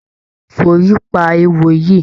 Fi òrí pa eéwo yìí.